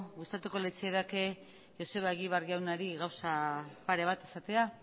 gustatuko litzaidake joseba egibar jaunari gauza pare bat esatea